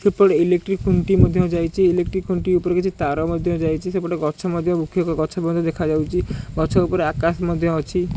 ସେପଟେ ଏଲେକ୍ଟ୍ରୀ ଖୁଣ୍ଟି ମଧ୍ୟ ଯାଇଚି ଏଲେକ୍ଟ୍ରୀ ଉପରେ କିଛି ତାର ମଧ୍ୟ ଯାଇଚି ସେପେଟ ଗଛ ମଧ୍ୟ ବୃକ୍ଷକ ଗଛ ପର୍ଯ୍ୟନ୍ତ ଦେଖାଯାଉଚି ଗଛ ଉପରେ ଆକାଶ ମଧ୍ୟ ଅଛି।